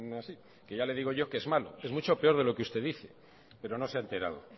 así que ya le digo yo que es malo es mucho peor de lo que usted dice pero no se ha enterado